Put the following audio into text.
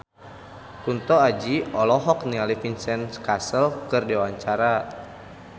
Kunto Aji olohok ningali Vincent Cassel keur diwawancara